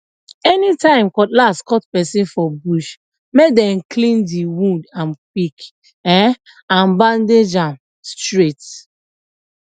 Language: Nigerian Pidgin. anytime cutlass cut person for bush make dem clean the wound am quick um and bandage um am straight